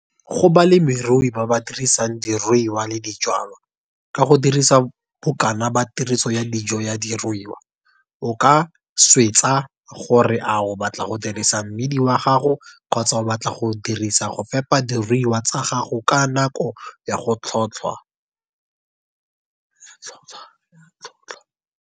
Go balemirui ba ba dirisang diruiwa le dijwalwa, ka go dirisa bokana ba tiriso ya dijo ya diruiwa, o ka swetsa gore a o batla go rekisa mmidi wa gago kgotsa o batla go dirisa go fepa diruiwa tsa gago ka nako ya tlhotlhwa.